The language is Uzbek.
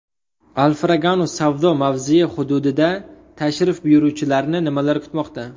Alfraganus savdo mavzesi hududida tashrif buyuruvchilarni nimalar kutmoqda.